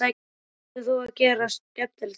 Hvað ætlar þú að gera skemmtilegt í dag?